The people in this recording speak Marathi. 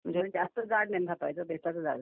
हां म्हणजे जास्त जाड नाही थापायचं बेताचं जाड.